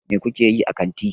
Mai ku ke yi a kanti?